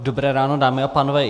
Dobré ráno, dámy a pánové.